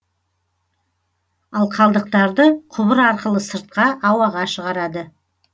ал қалдықтарды құбыр арқылы сыртқа ауаға шығарады